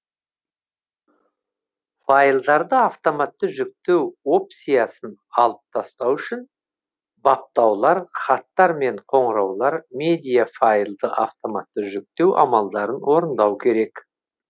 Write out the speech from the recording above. файлдарды автоматты жүктеу опциясын алып тастау үшін баптаулар хаттар мен қоңыраулар медиа файлды автоматты жүктеу амалдарын орындау керек